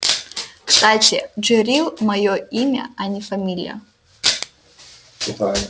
кстати джерилл моё имя а не фамилия